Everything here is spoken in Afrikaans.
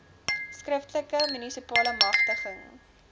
skriftelike munisipale magtiging